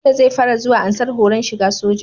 Bello zai fara zuwa ansar horon shiga soja